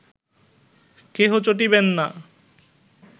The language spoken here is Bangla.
কেহ চটিবেন না